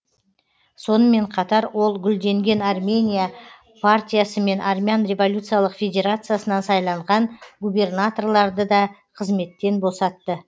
сонымен қатар ол гүлденген армения партиясы мен армян революциялық федерациясынан сайланған губернаторларды да қызметтен босатты